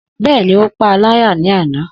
Bẹ́ẹ̀ni, ó paá láyà ní àná